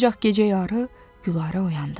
Ancaq gecə yarı Gülarə oyandı.